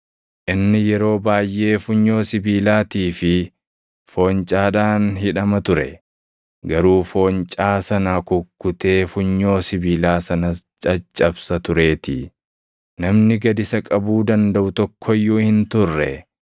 Inni yeroo baayʼee funyoo sibiilaatii fi foncaadhaan hidhama ture; garuu foncaa sana kukkutee funyoo sibiilaa sanas caccabsa tureetii. Namni gad isa qabuu dandaʼu tokko iyyuu hin turre.